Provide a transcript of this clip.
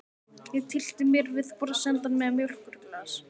Ég tyllti mér við borðsendann með mjólkurglas.